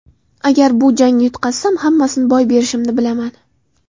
Agar bu jangni yutqazsam, hammasini boy berishimni bilaman.